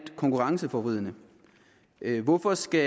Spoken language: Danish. konkurrenceforvridende hvorfor skal